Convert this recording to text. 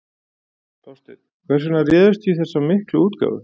Þorsteinn, hvers vegna réðust þið í þessa miklu útgáfu?